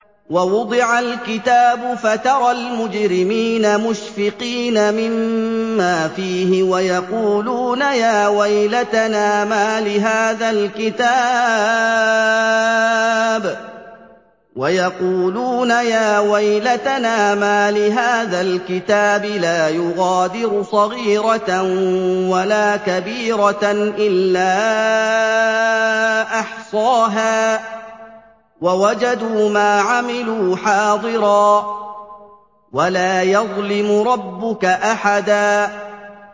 وَوُضِعَ الْكِتَابُ فَتَرَى الْمُجْرِمِينَ مُشْفِقِينَ مِمَّا فِيهِ وَيَقُولُونَ يَا وَيْلَتَنَا مَالِ هَٰذَا الْكِتَابِ لَا يُغَادِرُ صَغِيرَةً وَلَا كَبِيرَةً إِلَّا أَحْصَاهَا ۚ وَوَجَدُوا مَا عَمِلُوا حَاضِرًا ۗ وَلَا يَظْلِمُ رَبُّكَ أَحَدًا